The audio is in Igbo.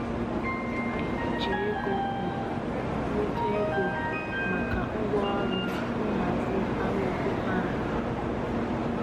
Anyị ji ego ọha nweta ego maka ngwaọrụ nhazi anụ ọkụkọ anyị.